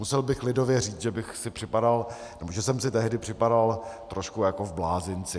Musel bych lidově říct, že jsem si tehdy připadal trošku jako v blázinci.